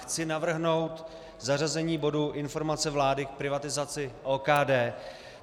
Chci navrhnout zařazení bodu Informace vlády k privatizaci OKD.